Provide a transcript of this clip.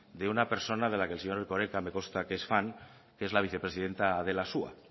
de una persona de la que el señor erkoreka me consta que es fan que es la vicepresidenta de la